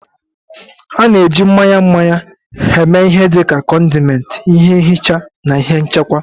A na-eji mmanya mmanya eme ihe dị ka condiment, ihe nhicha na ihe nchekwa.